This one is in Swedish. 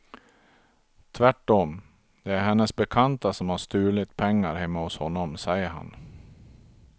Tvärtom, det är hennes bekanta som har stulit pengar hemma hos honom, säger han.